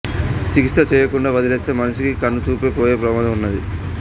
చికిత్స చేయకుండా వదిలేస్తే మనిషి కి కను చూపు పోయే ప్రమాదం ఉన్నది